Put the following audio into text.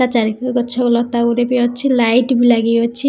ଏହା ଚାରିପଟେ ଗଛ ଓ ଲତା ଗୁଡେ ବି ଅଛି ଲାଇଟ୍ ବି ଲାଗିଅଛି ।